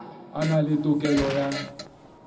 a na le tokelo ya